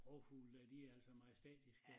Rovfulge dér de er altså majestætiske